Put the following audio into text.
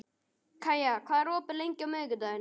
Kaía, hvað er opið lengi á miðvikudaginn?